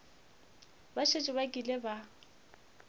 ba šetše ba kile ba